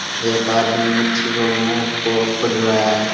एक आदमी मछी के मु को पढ़ रहा है।